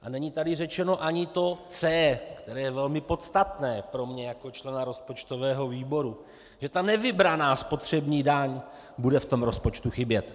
A není tady řečeno ani to C, které je velmi podstatné pro mě jako člena rozpočtového výboru, že ta nevybraná spotřební daň bude v tom rozpočtu chybět.